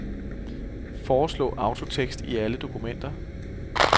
Foreslå autotekst i alle dokumenter.